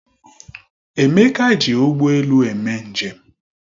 Emeka ji ụgbọ elu eme njem